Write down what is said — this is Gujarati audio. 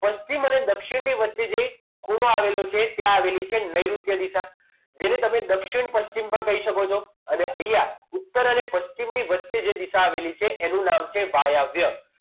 અને પશ્ચિમ મને દક્ષિણી વચ્ચે જે ખુણા આવેલો છે ત્યાં આવેલી છે. નેઋત્ય દિશા જેને તમે દક્ષિણ પછી પણ કહી શકો છો અને અહીંયા ઉત્તર અને પશ્ચિમની વચ્ચે જે દિશા આવેલી છે એનું નામ છે વાયવ્ય